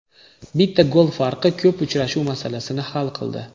Bitta gol farqi ko‘p uchrashuv masalasini hal qildi.